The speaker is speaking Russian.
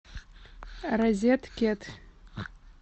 розеткед